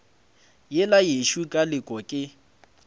yela yešo ka leke ke